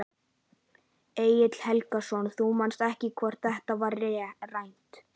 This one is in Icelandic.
Egill Helgason: Þú manst ekki hvort þetta var rætt?